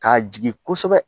K'a jigin kosɛbɛ